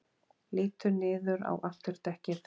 Lítur niður á afturdekkið.